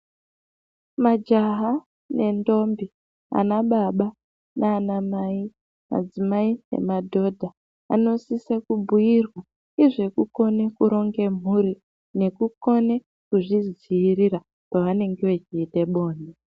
Majaha nendombi ana baba nana mai adzimai nemadhodha anosise kubhuirwa nezvekukone kuronge mhuri nekukone kuzvidziirira pavanenge vechiite bonde.